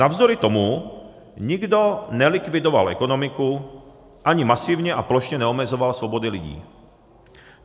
Navzdory tomu nikdo nelikvidoval ekonomiku ani masivně a plošně neomezoval svobody lidí.